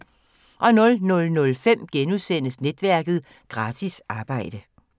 00:05: Netværket: Gratis arbejde *